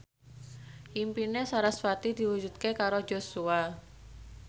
impine sarasvati diwujudke karo Joshua